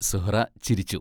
സുഹ്റാ ചിരിച്ചു.